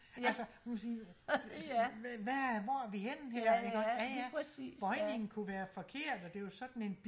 ja ja ja ja lige præcis ja